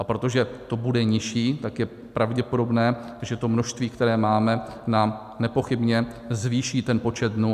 A protože to bude nižší, tak je pravděpodobné, že to množství, které máme, nám nepochybně zvýší ten počet dnů.